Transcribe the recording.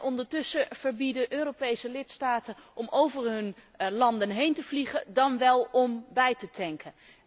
Ondertussen verbieden Europese lidstaten om over hun landen heen te vliegen dan wel om bij te tanken.